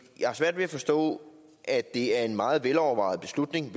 jeg har svært ved at forstå at det er en meget velovervejet beslutning